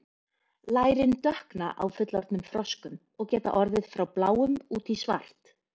lærin dökkna á fullorðnum froskum og geta orðið frá bláum út í svart